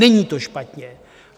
Není to špatně.